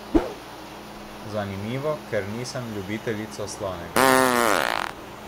Zanimivo, ker nisem ljubiteljica slanega.